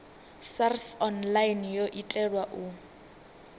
sars online yo itelwa u